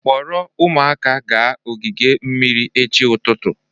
Kpọrọ ụmụaka gaa ogige mmiri echi ụtụtụ